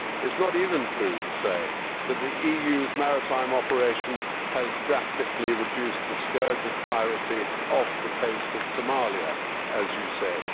It is not even true to say that the EU's maritime operation has drastically reduced the scourge of piracy off the coast of Somalia, as you said.